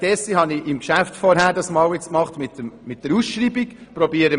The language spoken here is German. Deshalb habe ich das im Geschäft mit der Ausschreibung gemacht.